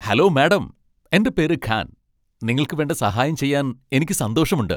Hello madam, എന്റെ പേര് ഖാൻ, നിങ്ങൾക്ക് വേണ്ട സഹായം ചെയ്യാൻ എനിക്ക് സന്തോഷമുണ്ട്.